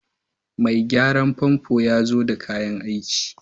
Mai gyaran famfo ya zo da kayan aiki